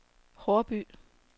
Haarby